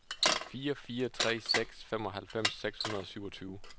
fire fire tre seks femoghalvfems seks hundrede og syvogtyve